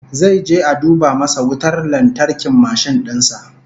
Zai je a duba masa wutar lantarkin mashin din sa